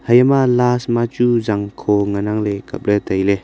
haima last ma chu zangkho nganang ley kapley tailey.